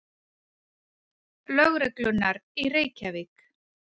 Lögreglunnar í Reykjavík.